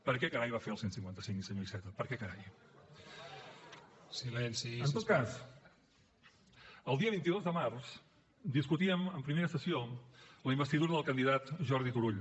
per què carai va fer el cent i cinquanta cinc senyor iceta per què carai en tot cas el dia vint dos de març discutíem en primera sessió la investidura del candidat jordi turull